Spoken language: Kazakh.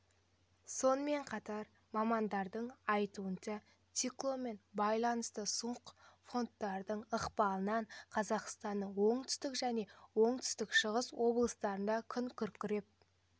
сонымен қатар мамандардың айтуынша циклонмен байланысты суық фронттардың ықпалынан қазақстанның оңтүстік және оңтүстік-шығыс облыстарында күн күркіреп